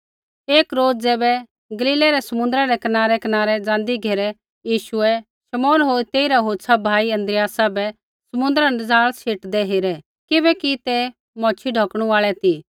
एक रोज़ ज़ैबै गलीलै री समुन्द्रा रै कनारैकनारै ज़ाँदी घेरै यीशुऐ शमौन होर तेइरा होछ़ा भाई अन्द्रियासा बै समुन्द्रा न जाल शेटदै हेरै किबैकि ते मैच्छ़ी ढौकणु आल़ै ती